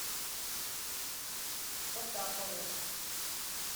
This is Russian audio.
потапову